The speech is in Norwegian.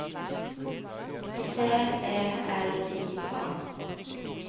C E L I A